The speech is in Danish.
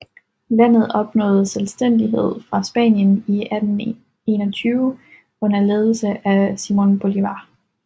Landet opnåede selvstændighed fra Spanien i 1821 under ledelse af Simón Bolívar